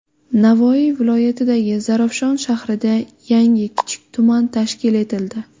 Navoiy viloyatidagi Zarafshon shahrida yangi kichik tuman tashkil etildi.